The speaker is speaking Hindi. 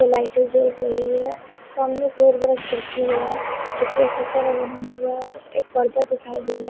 जो लाइट जेल है सामने एक बहुत बड़ा खिड़की है जो प्रोसेसर है हब है पर्दा दिखाई दे रहा है।